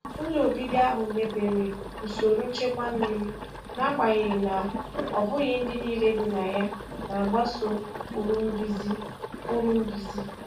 Ụlọ obibi ahụ mebere usoro nchekwa mmiri, n'agbanyeghị na ọ bụghị ndị niile bi na ya na-agbaso ụkpụrụ nduzi. ụkpụrụ nduzi.